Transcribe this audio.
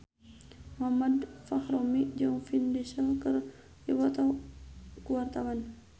Muhammad Fachroni jeung Vin Diesel keur dipoto ku wartawan